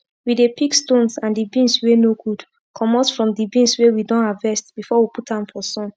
we dey pick stones and d beans wey no good comot from d beans wey we don harvest before we put am for sun